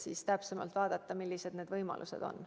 Siis vaatame täpsemalt, millised need võimalused on.